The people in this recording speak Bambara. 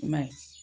I m'a ye